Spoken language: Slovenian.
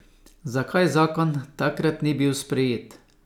Zakaj zakon takrat ni bil sprejet?